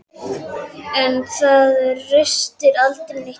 En það ristir aldrei neitt djúpt.